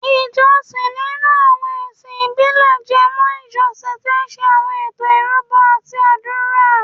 Ìjọsìn nínú àwọn ẹ̀sìn ìbílẹ̀ jẹ mọ́ ìjọ tí ń ṣe àwọn ètò ìrúbọ àti àdúrà